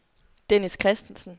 Dennis Christensen